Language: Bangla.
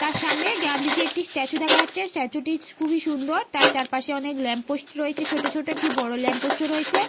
তার সামনে গান্ধীজির একটি স্ট্যাচু দেখা যাচ্ছে। স্ট্যাচু - টি খুবই সুন্দর। তার চারপাশে ল্যাম্প পোস্ট রয়েছে ছোট ছোট। একটি বড় ল্যাম্প পোস্ট - ও রয়েছে।